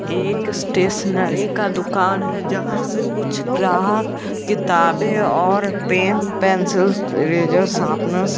एक स्टेशनरी का दुकान है यहां से कुछ ग्राहक किताबें और पेन पेंसिल रेजर शार्पनर्स --